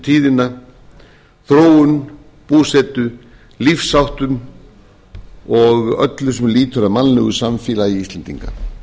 tíðina þróun búsetu lífsháttum og öllu sem lýtur að mannlegu samfélagi íslendinga